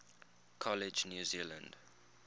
college new zealand